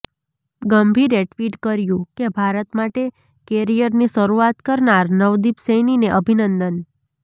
ગંભીરે tweet કર્યુ કે ભારત માટે કેરિયરની શરૂઆત કરનાર નવદીપ સૈનીને અભિનંદન